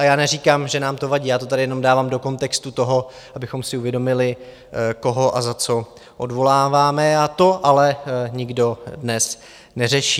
A já neříkám, že nám to vadí, já to tady jenom dávám do kontextu toho, abychom si uvědomili, koho a za co odvoláváme, a to ale nikdo dnes neřeší.